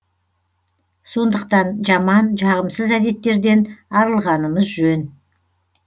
сондықтан жаман жағымсыз әдеттерден арылғанымыз жөн